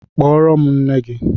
Kpọrọ m nne gị!